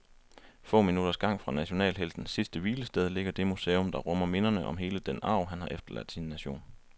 Få minutters gang fra nationalheltens sidste hvilested ligger det museum, der rummer minderne om hele den arv, han har efterladt sin nation.